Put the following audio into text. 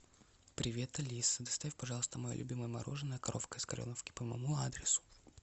привет алиса доставь пожалуйста мое любимое мороженое коровка из кореновки по моему адресу